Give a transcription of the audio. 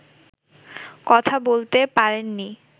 কথা বলতে পারেননি